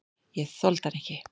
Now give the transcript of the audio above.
Ég þoldi hann ekki.